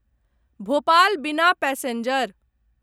भोपाल बिना पैसेंजर